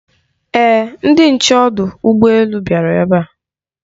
Ee, ndị nche ọdụ ụgbọ elu bịara ebe a.